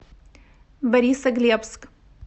борисоглебск